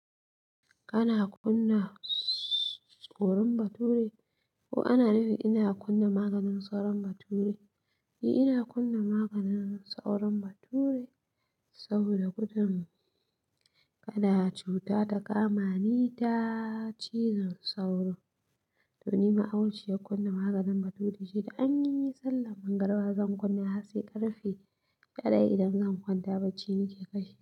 Kana kunna saurin bature? Ko ana nufin ina kunna maganin sauran bature? Ni ina kunna maganin sauran bature saboda gudan. Kada cuta ta kama ni ta cizon sauro, to ni ma auciya kunna maganin bature ce da an yi sallan magariba zan kunna har sai ƙarfe daya idan zan kwanta bacci nake kashe.